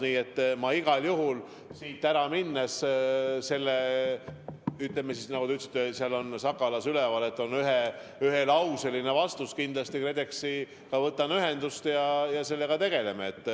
Nii et ma igal juhul võtan, kui olen siit ära läinud, selle Sakalas üleval olnud ühelauselise vastuse peale KredExiga ühendust ja me sellega tegeleme.